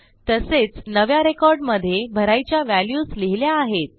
तसेच नव्या recordमध्ये भरायच्या व्हॅल्यूज लिहिल्या आहेत